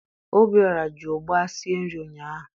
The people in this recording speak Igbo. Obiọra ji ụgba sie nri ụnyaahụ